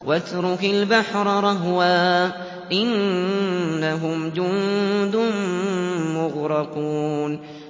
وَاتْرُكِ الْبَحْرَ رَهْوًا ۖ إِنَّهُمْ جُندٌ مُّغْرَقُونَ